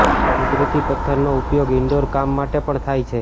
કુદરતી પથ્થરનો ઉપયોગ ઇનડોર કામ માટે પણ થાય છે